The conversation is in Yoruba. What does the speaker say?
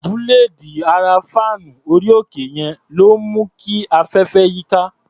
Búléèdì ara fáànù orí-òkè yẹn ló ń mú kí afẹ́fẹ́ yíká.